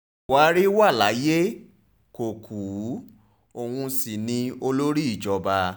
buhari wà láyé kó kú òun sí ni olórí ìjọba